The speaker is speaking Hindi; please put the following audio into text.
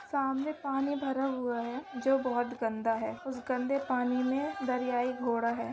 सामने पानी भरा हुआ हैजो बहुत गंदा हैउसे गंदे पानी में दरियाई घोड़ा है।